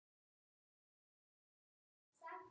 Lét bara vaða.